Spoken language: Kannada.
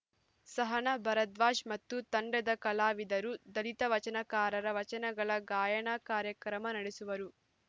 ಸಹನಾ ಭಾರಧ್ವಾಜ್‌ ಮತ್ತು ತಂಡದ ಕಲಾವಿದರು ದಲಿತ ವಚನಕಾರರ ವಚನಗಳ ಗಾಯನ ಕಾರ್ಯಕ್ರಮ ನಡೆಸುವರು